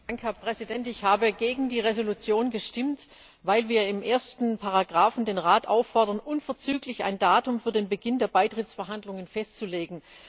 Herr Präsident! Ich habe gegen die Entschließung gestimmt, weil wir in der ersten Ziffer den Rat auffordern, unverzüglich ein Datum für den Beginn der Beitrittsverhandlungen festzulegen.